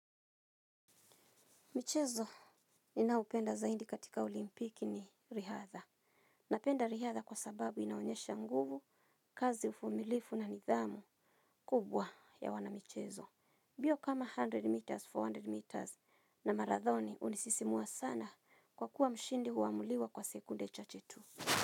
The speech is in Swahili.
Michezo ni naoupenda zaindi katika olimpiki ni rihadha. Napenda rihadha kwa sababu inaonyesha nguvu, kazi ufumilifu na nidhamu kubwa ya wana michezo. Bio kama mia moja meters, mia nne meters na marathoni unisisimua sana kwa kuwa mshindi huamuliwa kwa sekunde cha chetu.